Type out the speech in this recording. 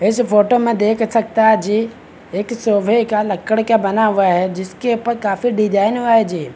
इस फोटो में देख सकता जी एक सोफे का लक्कड़ क्या बना हुआ है जिसके प काफी डिज़ाइन हुआ हे जी।